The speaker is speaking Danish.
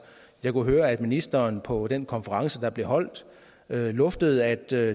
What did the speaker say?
jeg kunne høre at ministeren på den konference der blev holdt luftede at der